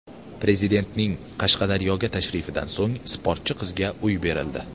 Prezidentning Qashqadaryoga tashrifidan so‘ng sportchi qizga uy berildi.